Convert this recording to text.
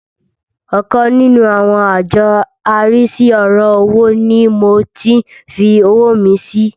Ọkan nínú àwọn àjọ arísí ọ̀rọ̀ owó ni mo tí ń fi owó mi sí.